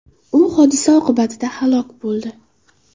U hodisa oqibatida halok bo‘ldi.